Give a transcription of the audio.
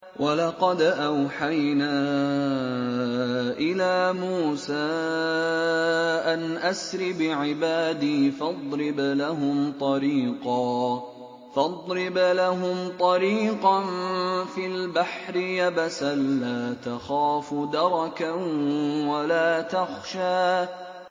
وَلَقَدْ أَوْحَيْنَا إِلَىٰ مُوسَىٰ أَنْ أَسْرِ بِعِبَادِي فَاضْرِبْ لَهُمْ طَرِيقًا فِي الْبَحْرِ يَبَسًا لَّا تَخَافُ دَرَكًا وَلَا تَخْشَىٰ